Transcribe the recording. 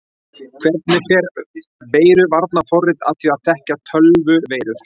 Hvernig fer veiruvarnarforrit að því að þekkja tölvuveirur?